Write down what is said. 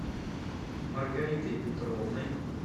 маргаритой петровной